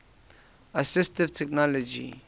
assistive technology